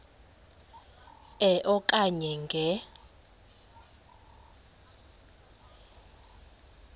e okanye nge